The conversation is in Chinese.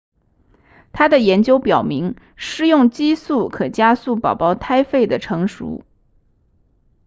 他的研究表明施用激素可加速宝宝胎肺的成熟